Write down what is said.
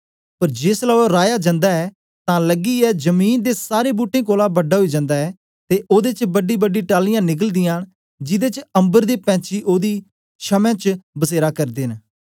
पर जेसलै ओ राया जन्दा ऐ तां लगियै जमीन दे सारें बूट्टें कोलां बड़ा ओई जन्दा ऐ ते ओदे च बड़ीबड़ी डालियाँ निकलदीयां न जिदे च अम्बर दे पैंछी ओदी छमें च बसेरा करदे न